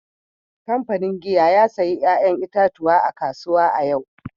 Kamfanin giya ya sayi 'ya'yan itatuwa a kasuwa a yau